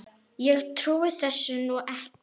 Ég trúi þessu nú ekki!